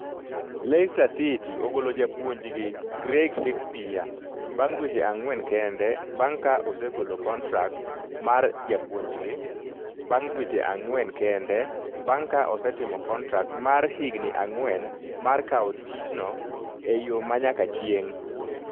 Leicester City ogolo japuonjgi Craig Shakespeare bang' dweche ang'wen kende bang' ka osegolo kontrak mar japuonjgi. bang’ dweche ang’wen kende bang’ ka osetimo kontrak mar higni ang’wen mar kawo tichno e yo ma nyaka chieng’.